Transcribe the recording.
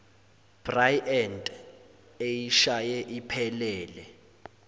bryant eyishaye iphelele